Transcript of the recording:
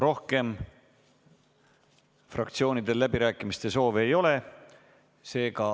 Rohkem fraktsioonidel läbirääkimiste soovi ei ole.